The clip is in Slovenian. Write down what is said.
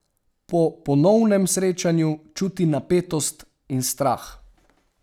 Po ponovnem srečanju čuti napetost in strah.